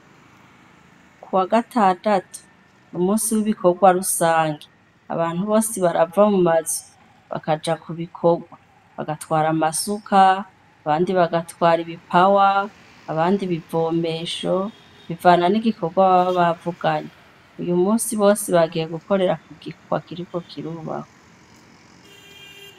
Kuwagatandatu n'umusi wibikorwa rusangi, abantu bose barava mumazu, bakaja kubikorwa. Bagatwara amasuka, abandi bagatwara ibipawa , abandi ibivomesho, bivana nigikorwa baba bavuganye. Uyu musi bose bagiye gukorera kugikorwa kiriko kirubakwa